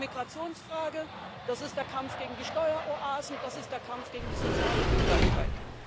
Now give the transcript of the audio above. Das ist die Migrationsfrage, das ist der Kampf gegen die Steueroasen, das ist der Kampf gegen die soziale Ungleichheit.